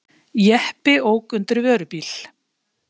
Jeppi ók undir vörubíl.